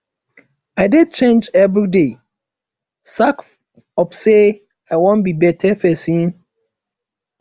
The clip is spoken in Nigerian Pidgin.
i dey change everyday sake of say i wan be beta pesin